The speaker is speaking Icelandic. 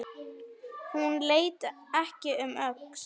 Hún leit ekki um öxl.